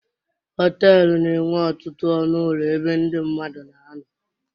Họtelụ na-enwe ọtụtụ ọnụ ụlọ ebe ndị mmadụ na-anọ.